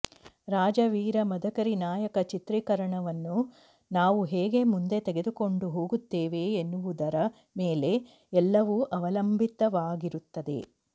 ರಾಜ ವೀರ ಮದಕರಿ ನಾಯಕ ಚಿತ್ರೀಕರಣವನ್ನು ನಾವು ಹೇಗೆ ಮುಂದೆ ತೆಗೆದುಕೊಂಡು ಹೋಗುತ್ತೇವೆ ಎನ್ನುವುದರ ಮೇಲೆ ಎಲ್ಲವೂ ಅವಲಂಬಿತವಾಗಿರುತ್ತದೆ